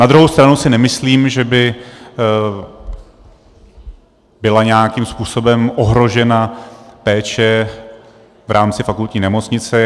Na druhou stranu si nemyslím, že by byla nějakým způsobem ohrožena péče v rámci fakultní nemocnice.